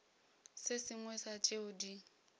se sengwe sa tšeo di